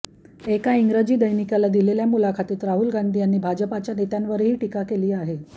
एका इंग्रजी दैनिकाला दिलेल्या मुलाखतीत राहुल गांधी यांनी भाजपच्या नेत्यांवर हि टीका केली आहे